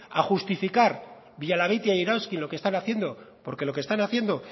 a justificar villalabeitia y erauzkin lo que están haciendo porque lo que están haciendo